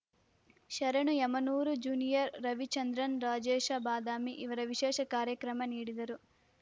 ಶರಣು ಯಮನೂರ ಜೂನಿಯರ್ ರವಿಚಂದ್ರನ್ ರಾಜೇಶ ಬಾದಾಮಿ ಇವರ ವಿಶೇಷ ಕಾರ್ಯಕ್ರಮ ನೀಡಿದರು